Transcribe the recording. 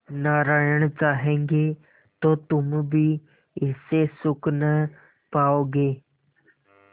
नारायण चाहेंगे तो तुम भी इससे सुख न पाओगे